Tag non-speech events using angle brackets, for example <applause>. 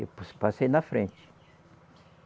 <unintelligible> Passei na frente.